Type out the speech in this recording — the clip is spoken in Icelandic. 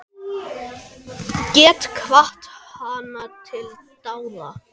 Get hvatt hana til dáða.